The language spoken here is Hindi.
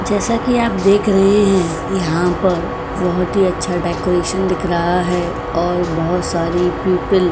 जैसा कि आप देख रहे हैं यहां पर बहुत ही अच्छा डेकोरेशन दिख रहा है और बहुत सारी प्यूपिल --